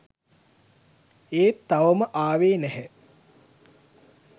ඒත් තවම ආවේ නැහැ